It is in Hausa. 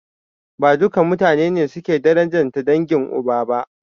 Ba duka mutane ne suke darajanta dangin uba ba.